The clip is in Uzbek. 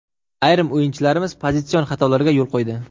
Ayrim o‘yinchilarimiz pozitsion xatolarga yo‘l qo‘ydi.